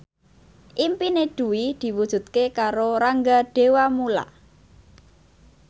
impine Dwi diwujudke karo Rangga Dewamoela